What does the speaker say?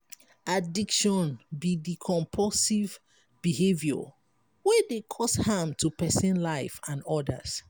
addiction be di compulsive behavior wey dey cause harm to pesin life and odas.